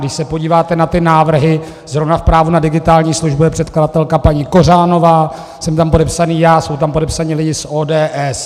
Když se podíváte na ty návrhy, zrovna v právu na digitální službu je předkladatelka paní Kořánová, jsem tam podepsaný já, jsou tam podepsaní lidé z ODS.